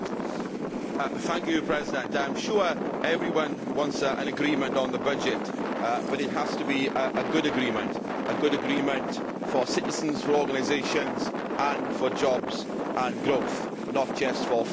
Mr President, I am sure everyone wants an agreement on the budget, but it has to be a good agreement, a good agreement for citizens, for organisations, and for jobs and growth, not just for finance ministers.